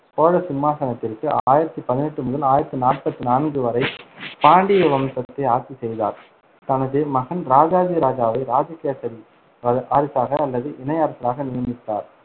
சோழ சிம்மாசனத்திற்கு ஆயிரத்தி பதினெட்டு முதல் ஆயிரத்தி நாற்பத்தி நான்கு வரை பாண்டிய வம்சத்தை ஆட்சி செய்தார் தனது மகன் ராஜாதிராஜாவை ராஜகேசரி வ~ வாரிசாக அல்லது இணை அரசராக நியமித்தார்